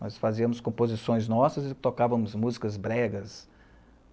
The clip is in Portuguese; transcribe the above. Nós fazíamos composições nossas e tocavamos músicas bregas.